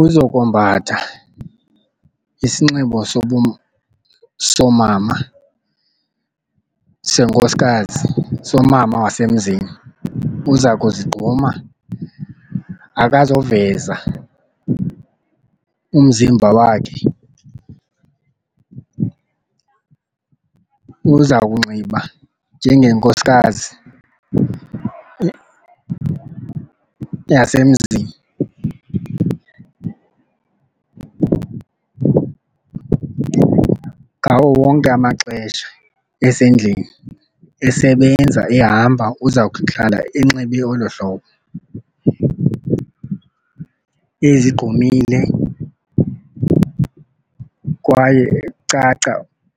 Uzokombatha isinxibo soomama senkosikazi somama wasemzini. Uza kuzigquma akazoveza umzimba wakhe. Uza kunxiba njengonkosikazi yasemzini ngawo wonke amaxesha esendlini. Esebenza ehamba uza kuhlala enxibe olo hlobo ezigqumile kwaye kucaca